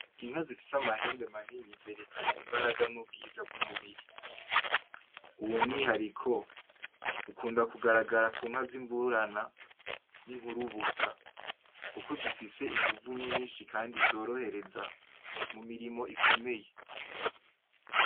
Inka zifise amahembe manini zerekana imbaraga n'ubwiza bw'umubiri. Uwo mwihariko, ukunda kugarara ku nka ' imburana n'inkurubusa kuko zifise inguvu nyinshi kandi zorohereza mu mirimo ikomeye.